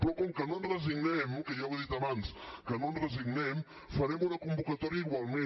però com que no ens resignem que ja ho he dit abans que no ens resignem farem una convocatòria igualment